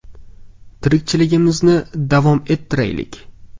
Tirikchiligimizni davom ettiraylik.